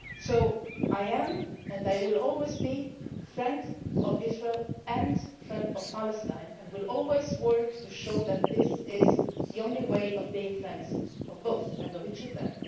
So I am and I will always be a friend of Israel and a friend of Palestine and will always work to show that this is the only way to be friends of both and of each of them.